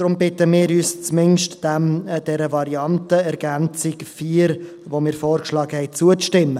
Daher bitten wir, zumindest dieser Variante, der von uns vorgeschlagenen Ergänzung 4, zuzustimmen.